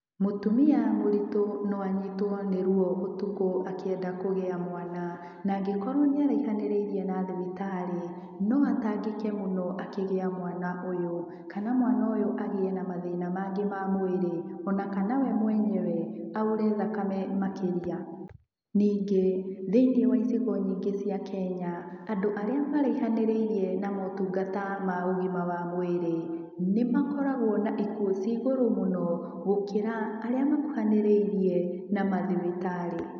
Mũtumia mũritũ no anyitwo nĩ ruo ũtukũ akĩenda kũgĩa mwana, na angĩkorwo nĩ araihanĩrĩirie na thibitarĩ, no atangĩke mũno akĩgĩa mwana ũyũ. Kana mwana ũyũ agĩe na mathina mangĩ ma mwĩri, o na kana we mwenyewe aure thakame makĩria. Ningĩ, thĩ-inĩ wa icigo nyingĩ cia Kenya, andũ arĩa maraihanĩrĩirie na motungata ma ũgima wa mwĩri, nĩ makoragwo na ikuũ cia igũrũ mũno, gũkĩra arĩa makuhanĩrĩirie na mathibitarĩ.